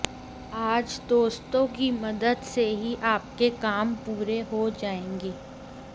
आज दोस्तों की मदद से ही आपके काम पूरे हो जाएंगे